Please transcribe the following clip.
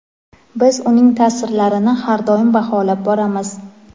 Biz uning ta’sirlarini har doim baholab boramiz.